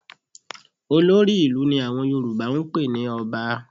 Olórí ìlú ni àwọn Yorùbá ń pè ní Ọba